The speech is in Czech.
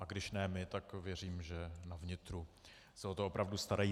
A když ne my, tak věřím, že na vnitru se o to opravdu starají.